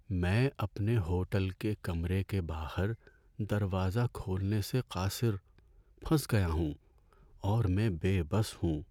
میں اپنے ہوٹل کے کمرے کے باہر، دروازہ کھولنے سے قاصر، پھنس گیا ہوں اور میں بے بس ہوں۔